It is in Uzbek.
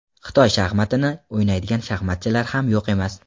Xitoy shaxmatini o‘ynaydigan shaxmatchilar ham yo‘q emas.